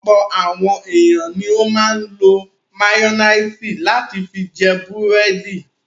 Ọ̀pọ̀ àwọn ènìyàn ni ó máa ń lo máyónísì láti fi jẹ búrẹ́dì.